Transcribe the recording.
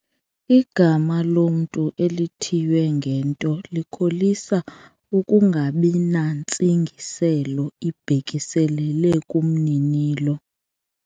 Igama lomntu elithiywe ngento likholisa ukungabi nantsingiselo ibhekiselele kumninilo.